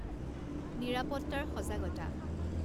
নিৰাপত্তাৰ সজাগতা